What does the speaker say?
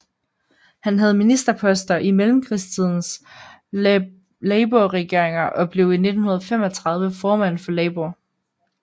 Han havde ministerposter i mellemkrigstidens labourregeringer og blev i 1935 formand for Labour